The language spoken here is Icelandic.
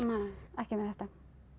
ekki með þetta